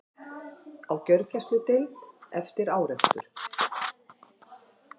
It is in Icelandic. Á gjörgæsludeild eftir árekstur